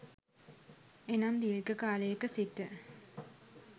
එනම් දීර්ඝ කාලයක සිට